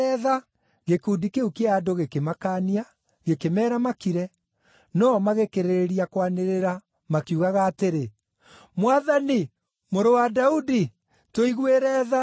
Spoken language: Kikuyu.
Gĩkundi kĩu kĩa andũ gĩkĩmakaania, gĩkĩmeera makire, no-o magĩkĩrĩrĩria kwanĩrĩra, makiugaga atĩrĩ, “Mwathani, Mũrũ wa Daudi, tũiguĩre tha!”